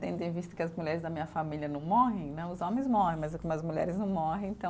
Tendo em vista que as mulheres da minha família não morrem né, os homens morrem, mas as mulheres não morrem, então